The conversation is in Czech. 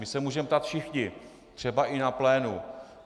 My se můžeme ptát všichni, třeba i na plénu.